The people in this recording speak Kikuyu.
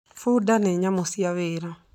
Bunda nĩ nyamũ cia wĩra